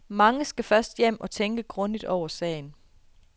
Mange skal først hjem og tænke grundigt over sagen.